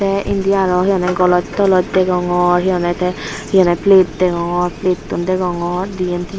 tey indi aro he honney goloj toloj degongor he honney tey hihonye plate degongor plattun degongor diyan tinan.